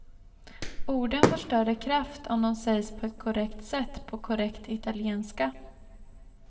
Orden får större kraft om de sägs på ett korrekt sätt på korrekt italienska.